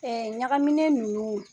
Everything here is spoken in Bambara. Ɲagaminen ninnu